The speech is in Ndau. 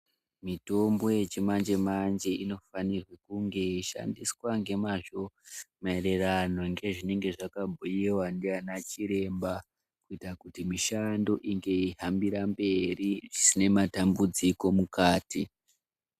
Mitombo yechi manje manje inofanirwa kunge yeishandiswa ngemazvo maererano ngezvinenge zvakabhuyiwa nana chiremba kuitira kuti mishando inge yeihambira mberi zvisina matambudziko mukati.